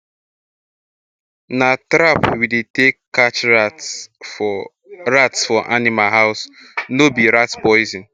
na trap we take dey catch rats for rats for animal house nor be rat poison